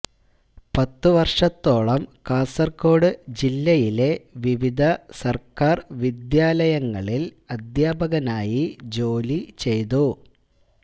പത്തു വര്ഷത്തോളം കാസര്കോട് ജില്ലയിലെ വിവിധ സര്ക്കാര് വിദ്യാലയങ്ങളില് അധ്യാപകനായി ജോലി ചെയ്തു